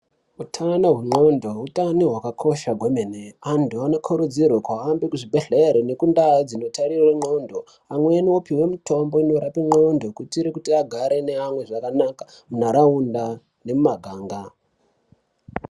Utano hwendxondo utano hwakakosha kwemene. Antu anokurudzirwe kuhambe kuzvibhedhlere ngekundau dzinotarirwe ndxondo. Amweni opiwe mutombo unorape ndxondo kuitire kuti agare neamwe zvakanaka muntaraunda nemumaganga.